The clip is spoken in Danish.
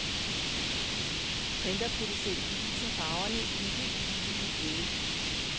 Printerproducenten viser farverne i den helt billige ende.